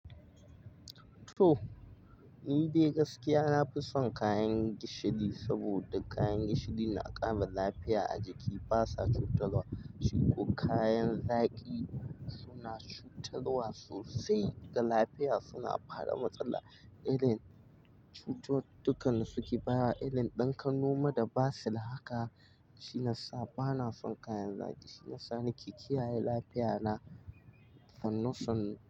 To, ni dai gaskiya nafi son kayan gishiri saboda kayan gishiri na ƙara lafiya a jiki. Ba sa cutarwa shi ko kayan zaƙi suna cutarwa sosai ga lafiya. Suna bada matsala, irin cututukan da suke ba wa irin ɗan ƙanoma da basir haka. Shi na sa bana son kayan zaƙi. Shi yasa ni kikiyaye lafiya na. Sannu sannu.